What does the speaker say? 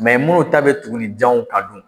minnu ta bɛ tugunninjanw kan dun